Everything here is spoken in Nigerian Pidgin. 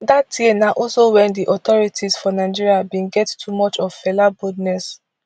dat year na also wen di authorities for nigeria bin get too much of fela boldness